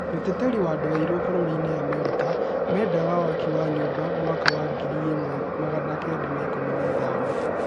Mũteteri wa andũ airũ bũrũrini America mendaga waki wa nyũmba mwaka wa ngiri ĩmwe magana kenda ma ikũmi na ithano